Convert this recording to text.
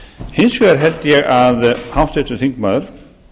hins vegar held ég að háttvirtur þingmaður